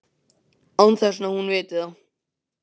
Án þess að hún viti það.